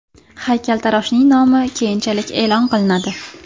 Haykaltaroshning nomi keyinchalik e’lon qilinadi.